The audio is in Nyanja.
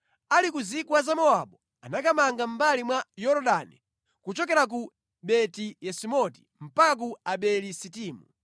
Ali ku zigwa za Mowabu anamanga mʼmbali mwa Yorodani kuchokera ku Beti-Yesimoti mpaka ku Abeli-Sitimu.